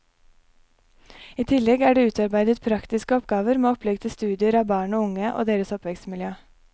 I tillegg er det utarbeidet praktiske oppgaver med opplegg til studier av barn og unge og deres oppvekstmiljø.